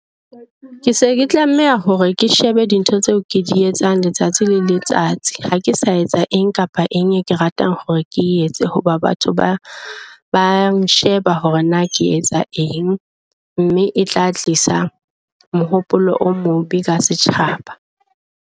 Ke se ke tlameha hore ke shebe dintho tseo ke di etsang letsatsi le letsatsi. Ha ke sa etsa eng kapa eng e ke ratang hore ke etse hoba batho ba ba nsheba hore na ke etsa eng, mme e tla tlisa mohopolo o mobe ka setjhaba.